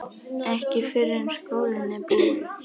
Ekki fyrr en skólinn er búinn